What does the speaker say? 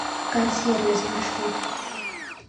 кар сервис маршрут